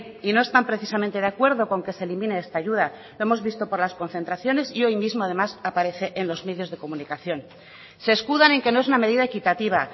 y no están precisamente de acuerdo con que se elimine esta ayuda lo hemos visto por las concentraciones y hoy mismo además aparece en los medios de comunicación se escudan en que no es una medida equitativa